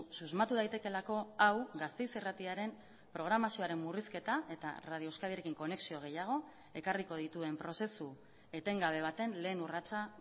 susmatu daitekeelako hau gasteiz irratiaren programazioaren murrizketa eta radio euskadirekin konexio gehiago ekarriko dituen prozesu etengabe baten lehen urratsa